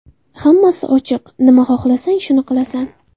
Hammasi ochiq, nima xohlasang, shuni qilasan.